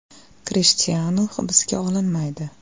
Krishtianu hibsga olinmaydi.